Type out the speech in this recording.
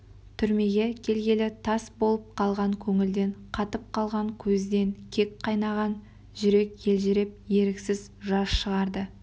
түрмеге келгелі тас болып қалған көңілден қатып қалған көзден кек қайнаған жүрек елжіреп еріксіз жас шығарды